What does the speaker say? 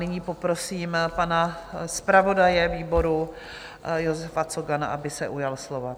Nyní poprosím pan zpravodaje výboru Josefa Cogana, aby se ujal slova.